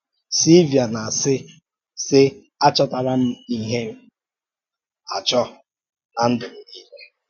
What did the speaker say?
Silvia na-àsị, sị: “àchọ́tàrà m íhè m -àchọ́ n’á ndụ̀ m niile.